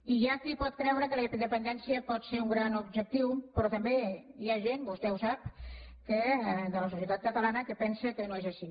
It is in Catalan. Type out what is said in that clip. i hi ha qui pot creure que la independència pot ser un gran objectiu però també hi ha gent i vostè ho sap de la societat catalana que pensa que no és així